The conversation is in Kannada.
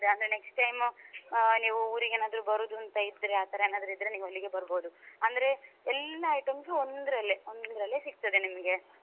ಅಂದ್ರೆ next time ಆ ನೀವು ಊರಿಗೆ ಏನಾದ್ರೂ ಬರೋದು ಅಂತ ಇದ್ರೆ ಆತರ ಏನಾದ್ರೂ ಇದ್ರೆ ನೀವು ಅಲ್ಲಿಗೆ ಬರ್ಬೋದು ಅಂದ್ರೆ ಎಲ್ಲಾ items ಒಂದ್ರಲ್ಲೇ ಒಂದ್ರಲ್ಲೇ ಸಿಕ್ತದೆ ನಿಮ್ಮ್ಗೆ.